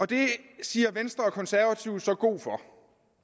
det siger venstre og de konservative så god for